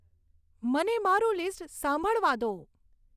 મને મારું લીસ્ટ સાંભળવા દો